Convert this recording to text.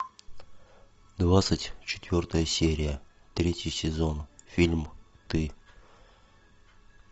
двадцать четвертая серия третий сезон фильм ты